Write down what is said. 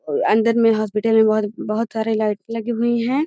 और अंदर मे हॉस्पिटल में बहुत सारे लाइट लगी हुई है।